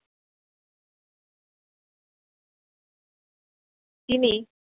তিনি